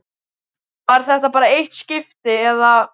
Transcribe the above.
Var þetta bara eitt skipti, eða.